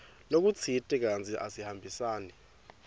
lokutsite kantsi asihambisani